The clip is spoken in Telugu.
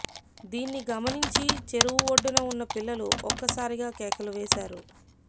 దీన్ని గమనించి చెరువు ఒడ్డున ఉన్న పిల్లలు ఒక్కసారిగా కేకలు వేశారు